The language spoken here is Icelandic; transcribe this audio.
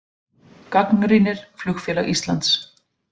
Gagnrýnir Flugfélag Íslands